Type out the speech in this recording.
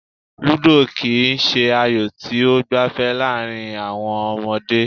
Ludo kì í se ayò tí ó gbafẹ́ láàrin àwọn ọmọdé.